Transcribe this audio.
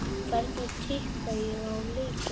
Hvernig tippa ég á leikina?